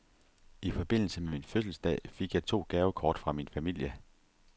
I forbindelse med min fødselsdag fik jeg to gavekort fra min familie.